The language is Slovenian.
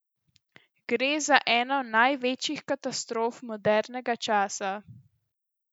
Gre za eno največjih katastrof modernega časa.